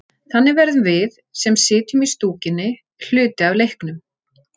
Þannig verðum við, sem sitjum í stúkunni, hluti af leiknum.